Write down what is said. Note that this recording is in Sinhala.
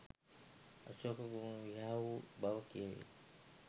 අශෝක කුමරු විවාහ වූ බව කියැවේ